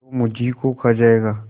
जो मुझी को खा जायगा